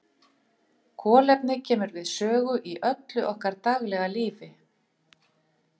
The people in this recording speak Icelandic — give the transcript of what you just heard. Kolefni kemur við sögu í öllu okkar daglega lífi.